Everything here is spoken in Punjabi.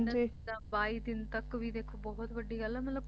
ਇਨ੍ਹਾਂ ਨੇ ਤਾਂ ਬਾਈ ਦਿਨ ਤੱਕ ਵੀ ਬਹੁਤ ਵੱਡੀ ਗੱਲ ਹੈ ਮਤਲਬ